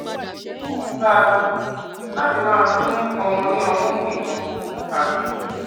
máa bá a lọ láti máa fún ọmọ ní ọmú nìkan àti